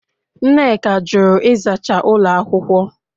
Nneka jụrụ ịzacha ụlọ akwụkwọ